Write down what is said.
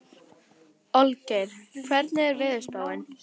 Olgeir, hvernig er veðurspáin?